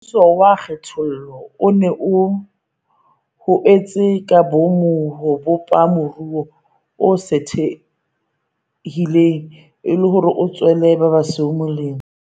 Mmuso wa kgethollo o ne o ho etse ka boomo ho bopa moruo o sothehileng, e le hore o tswele ba basweu molemo.